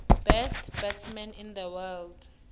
best batsman in the world